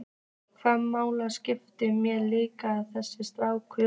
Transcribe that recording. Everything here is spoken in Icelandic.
Hvaða máli skiptir mig líka þessi strákur?